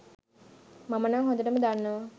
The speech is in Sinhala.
මම නං හොඳටම දන්නවා